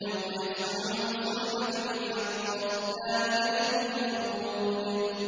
يَوْمَ يَسْمَعُونَ الصَّيْحَةَ بِالْحَقِّ ۚ ذَٰلِكَ يَوْمُ الْخُرُوجِ